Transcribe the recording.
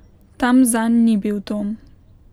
Tam zanj ni bil dom.